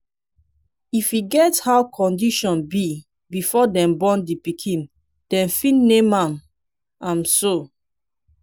if e get how condition be before dem born di pikin dem fit name am am so